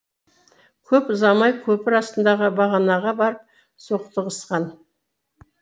көп ұзамай көпір астындағы бағанаға барып соқтығысқан